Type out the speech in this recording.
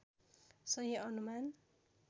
सही अनुमान